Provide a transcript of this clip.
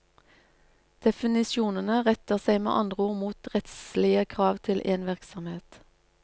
Definisjonene retter seg med andre ord mot rettslige krav til en virksomhet.